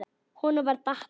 Honum var batnað.